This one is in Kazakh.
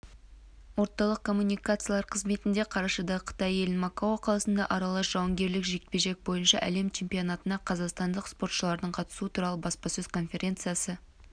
орталық коммуникациялар қызметінде қарашада қытай елінің макао қаласында аралас жауынгерлік жекпе-жек бойынша әлем чемпионатына қазақстандық спортшылардың қатысуы туралы баспасөз конференциясы